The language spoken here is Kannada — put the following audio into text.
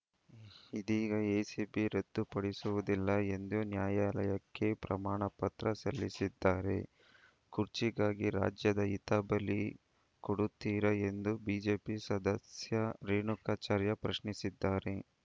ಇದೀಗ ಎಸಿಪಿ ರದ್ದುಪಡಿಸುವುದಿಲ್ಲ ಎಂದು ನ್ಯಾಯಾಲಯಕ್ಕೆ ಪ್ರಮಾಣಪತ್ರ ಸಲ್ಲಿಸದ್ದಾರೆ ಖುರ್ಚಿಗಾಗಿ ರಾಜ್ಯದ ಹಿತ ಬಲಿ ಕೊಡುತ್ತೀರಾ ಎಂದು ಬಿಜೆಪಿ ಸದಸ್ಯ ರೇಣುಕಾಚಾರ್ಯ ಪ್ರಶ್ನಿಸಿದ್ದಾರೆ